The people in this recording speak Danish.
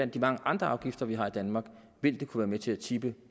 de mange andre afgifter vi har i danmark vil det kunne være med til at tippe